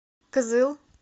кызыл